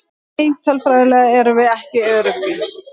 Nei tölfræðilega erum við ekki öruggir.